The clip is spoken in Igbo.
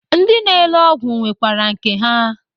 Ndị na-ele ọgwụ nwekwere nke ha